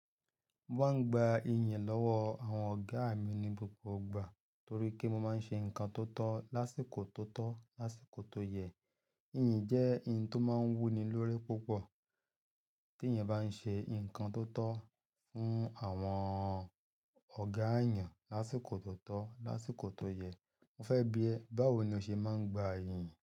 Mo máa ń gba iyìn lọ́wọ́ àwọn ọ̀gá mi ní gbogbo ìgbà, torí pé mo máa ń ṣe nǹkan tó tọ́ lásìkò tó tọ́, lásìkò tó yẹ. Iyìn jẹ́ ohun tó máa ń wú ni lórí púpọ̀, t'ẹ́yan bá ń ṣe nǹkan tó tọ́ fún àwọn ọ̀gá yẹn, lásìkò tó tọ́, lásìkò tó yẹ. Mo fẹ́ bi ẹ́, báwo ni ó ṣe máa ń gba iyìn?